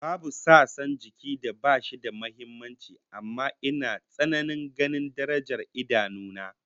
Babu sassan jikin da bashi da muhimmanci amma ina tsananin ganin darajar idanu na